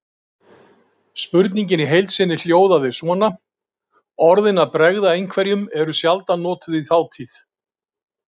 Spurningin í heild sinni hljóðaði svona: Orðin að bregða einhverjum eru sjaldan notuð í þátíð.